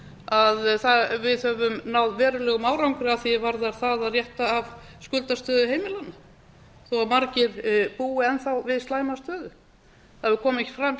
að við höfum náð verulegum árangri að því er varðar það að rétta af skuldastöðu heimilanna þó að margir búi enn þá við slæma stöðu það hefur komið fram hér